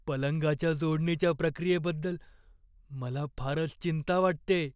पलंगाच्या जोडणीच्या प्रक्रियेबद्दल मला फारच चिंता वाटतेय.